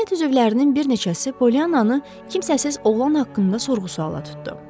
Cəmiyyət üzvlərinin bir neçəsi Polyananı kimsəsiz oğlan haqqında sorğu-suala tutdu.